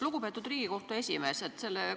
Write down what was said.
Lugupeetud Riigikohtu esimees!